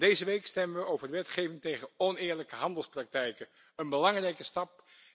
Deze week stemmen wij over wetgeving tegen oneerlijke handelspraktijken, een belangrijke stap.